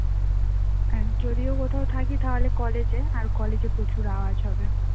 আর যদিও কোথাও থাকি তা হলে college এ আর college এ প্রচুর আওয়াজ হবে